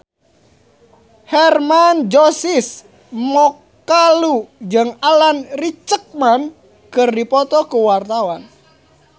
Hermann Josis Mokalu jeung Alan Rickman keur dipoto ku wartawan